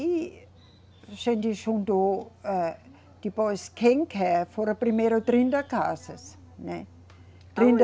E a gente juntou, âh, depois, quem quer, foram primeiro trinta casas, né? Aonde? Trinta